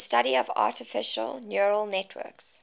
the study of artificial neural networks